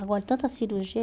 Agora, tanta cirurgia.